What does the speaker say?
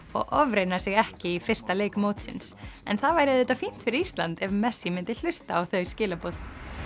og ofreyna sig ekki í fyrsta leik mótsins en það væri auðvitað fínt fyrir Ísland ef messi myndi hlusta á þau skilaboð